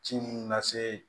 Ci minnu lase